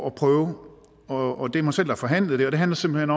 at prøve og det er mig selv der har forhandlet det det handler simpelt